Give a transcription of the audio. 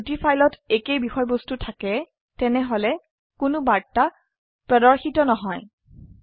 যদি দুটি ফাইলত একেই বিষয়বস্তু থাকে তেনেহলে কোনো বার্তা প্রদর্শিত নহয়